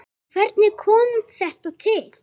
Hvernig kom þetta til?